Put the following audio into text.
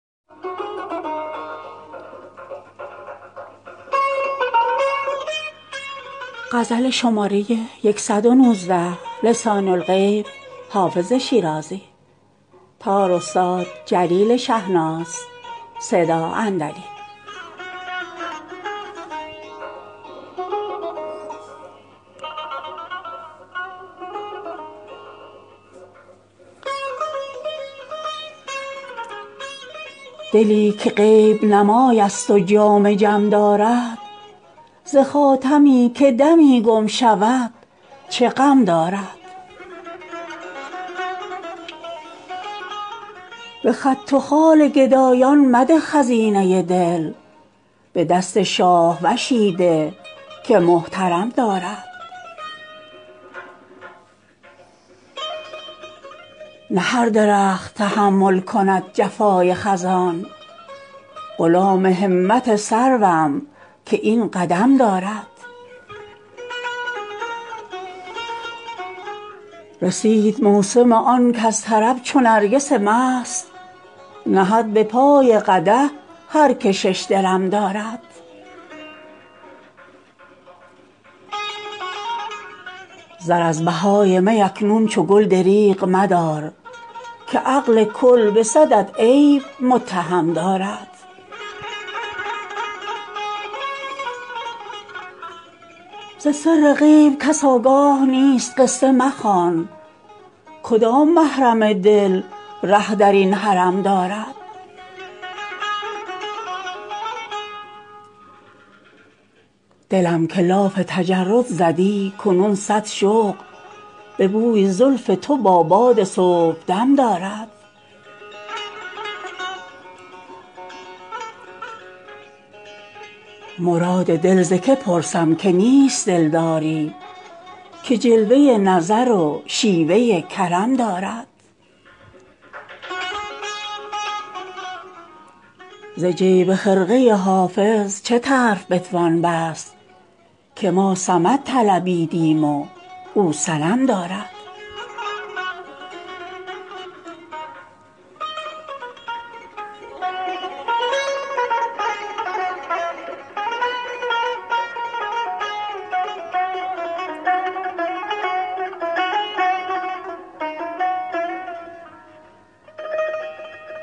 دلی که غیب نمای است و جام جم دارد ز خاتمی که دمی گم شود چه غم دارد به خط و خال گدایان مده خزینه دل به دست شاهوشی ده که محترم دارد نه هر درخت تحمل کند جفای خزان غلام همت سروم که این قدم دارد رسید موسم آن کز طرب چو نرگس مست نهد به پای قدح هر که شش درم دارد زر از بهای می اکنون چو گل دریغ مدار که عقل کل به صدت عیب متهم دارد ز سر غیب کس آگاه نیست قصه مخوان کدام محرم دل ره در این حرم دارد دلم که لاف تجرد زدی کنون صد شغل به بوی زلف تو با باد صبحدم دارد مراد دل ز که پرسم که نیست دلداری که جلوه نظر و شیوه کرم دارد ز جیب خرقه حافظ چه طرف بتوان بست که ما صمد طلبیدیم و او صنم دارد